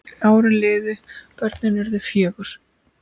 Árin liðu, börnin urðu fjögur.